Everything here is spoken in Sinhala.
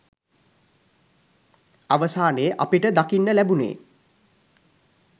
අවසානයේ අපිට දකින්න ලැබුනේ